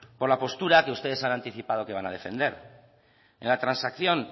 por la postura que ustedes han anticipado que van a defender en la transacción